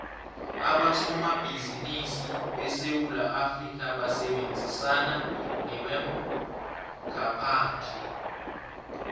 abosomabhizimisi besewula afrikha basebenzisana nebamgaphandle